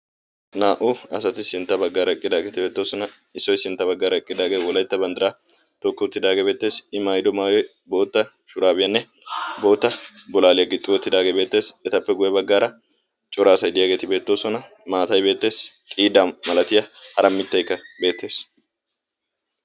naa"u asati sintta baggaara eqqidaageeti beettoosona. issoy sintta baggaara eqqidaage wolattta banddiraa tookki uttidaagee beettees. I maayido maayoy bootta shuraabiyaanne bootta bolaaliyaa gixxi uttidaagee beetteess. Etappe guye baggaara cora asay diyaageeti beettoosona. maatay beettees. xiida malatiyaa hara mitteykka beettees.